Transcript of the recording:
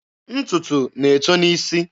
Ntụtụ na-eto n'isi.